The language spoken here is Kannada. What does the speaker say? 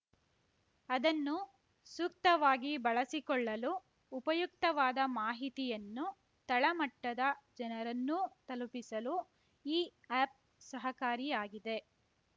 ಅದನ್ನು ಸೂಕ್ತವಾಗಿ ಬಳಸಿಕೊಳ್ಳಲು ಉಪಯುಕ್ತವಾದ ಮಾಹಿತಿಯನ್ನು ತಳಮಟ್ಟದ ಜನರನ್ನೂ ತಲುಪಿಸಲು ಈ ಆ್ಯಪ್‌ ಸಹಕಾರಿಯಾಗಿದೆ